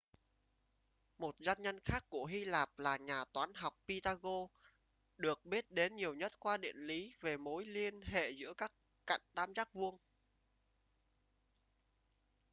một danh nhân khác của hy lạp là nhà toán học pythagoras được biết đến nhiều nhất qua định lý về mối liên hệ giữa các cạnh tam giác vuông